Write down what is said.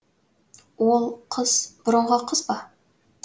ол қыз бұрынғы қыз ба